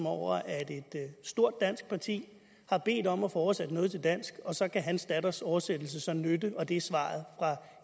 over at et stort dansk parti har bedt om at få oversat noget til dansk og så kan hans datters oversættelse så nytte det er svaret fra